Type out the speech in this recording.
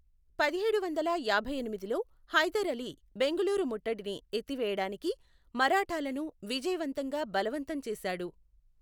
పదిహేడు వందల యాభైఎనిమిదిలో హైదర్ అలీ బెంగుళూరు ముట్టడిని ఎత్తివేయడానికి మరాఠాలను విజయవంతంగా బలవంతం చేశాడు.